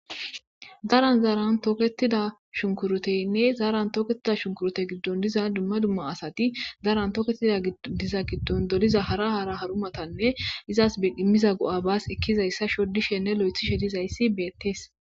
Daran zaaran tooketida shunkuruteynne zaaran tooketida shunkurote giddon diza dumma dumma asati daaran toketida diza giddon doliza hara hara harumatanne izas immiza go7abaas ikkizayssa shoddishenne lo7ethi shedizayssi beettees.